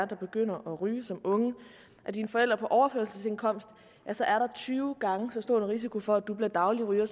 der begynder at ryge som unge er dine forældre på overførselsindkomst ja så er der tyve gange så stor risiko for at du bliver daglig ryger